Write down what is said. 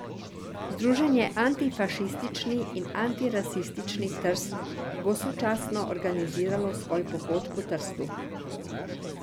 Združenje Antifašistični in antirasistični Trst bo sočasno organiziralo svoj pohod po Trstu.